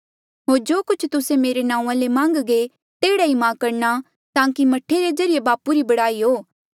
होर जो कुछ तुस्से मेरे नांऊँआं ले मान्घगे तेह्ड़ा ई मां करणा ताकि मह्ठे रे ज्रीए बापू री बड़ाई हो